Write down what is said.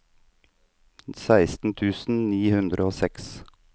seksten tusen ni hundre og seks